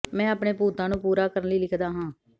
ਮੈਂ ਆਪਣੇ ਭੂਤਾਂ ਨੂੰ ਪੂਰਾ ਕਰਨ ਲਈ ਲਿਖਦਾ ਹਾਂ